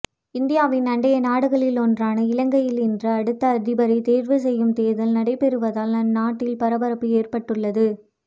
இந்தியாவின் அண்டை நாடுகளில் ஒன்றான இலங்கையில் இன்று அடுத்த அதிபரை தேர்வு செய்யும் தேர்தல் நடைபெறுவதால் அந்நாட்டில் பரபரப்பு ஏற்பட்டுள்ளது